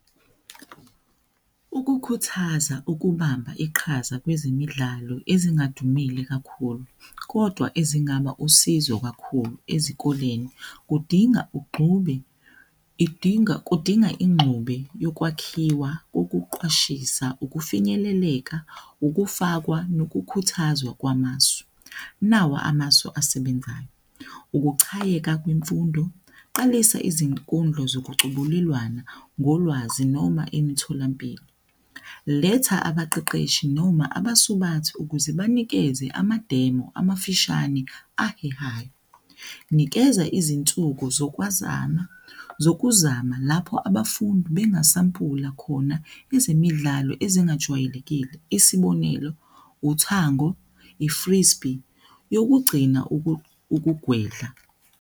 Ukukhuthaza ukubamba iqhaza kwezemidlalo ezingadumile kakhulu, kodwa ezingaba usizo kakhulu ezikoleni kudinga ugxube, idinga, kudinga ingxube yokwakhiwa ukuqwashisa, ukufinyeleleka, ukufakwa nokukhuthazwa kwamasu. Nawa amasu asebenzayo, ukuchayeka kwemfundo, qalisa izinkundla zokucubulungana ngolwazi noma emitholampilo, letha abaqeqeshi noma abasubathu ukuze banikeze ama demo amafushane ahehayo, nikeza izinsuku zokwazama, zokuzama lapho abafundi bengasampula khona ezemidlalo ezingajwayelekile, isibonelo, uthango, i-freespy yokugcina ukugwedla.